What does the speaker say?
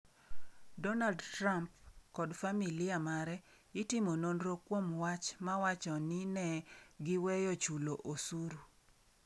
Donald Trump kod familia mare itimo nonro kuom wach mawacho ni ne giweyo chulo osuru